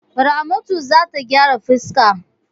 Ramatu za ta gyara fuska.